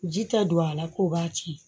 Ji ta don a la k'o b'a tiɲɛ